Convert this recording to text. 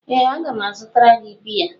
Ee a ga m azụtara gị biya.